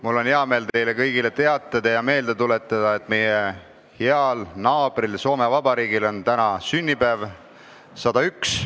Mul on hea meel teile kõigile meelde tuletada, et meie heal naabril Soome Vabariigil on täna sünnipäev, 101.